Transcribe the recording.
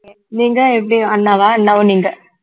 நீங்க எப்படி அண்ணாவா அண்ணாவும் நீங்க